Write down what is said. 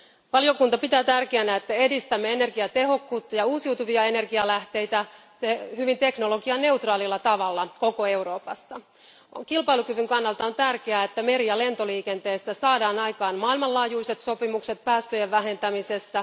Valiokunta pitää tärkeänä, että edistämme energiatehokkuutta ja uusiutuvia energialähteitä hyvin teknologianeutraalilla tavalla koko Euroopassa Kilpailukyvyn kannalta on tärkeää, että meri ja lentoliikenteestä saadaan aikaan maailmanlaajuiset sopimukset päästöjen vähentämisessä.